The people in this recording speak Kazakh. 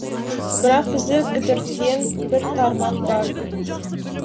бірақ бізді кідірткен бір тармақ бар